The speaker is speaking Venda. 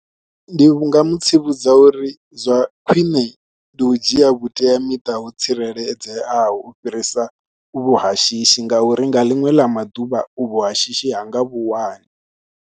Ndi vhu nga mu tsivhudza uri zwa khwine ndi u dzhia vhuteamiṱa ho tsireledzeaho u fhirisa uvhu ha shishi ngauri nga ḽiṅwe ḽa maḓuvha uvhu ha shishi ha nga vhu wani.